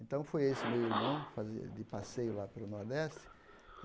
Então, foi esse meu irmão fazer de passeio lá pelo Nordeste.